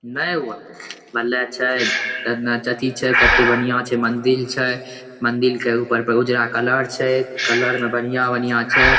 नै हुआ। भले छे कतना अथी छे कते बढियां छे। मंदिर छे मंदिर के ऊपर पे उजरा कलर छे। कलर में बढ़िया-बढ़िया छे।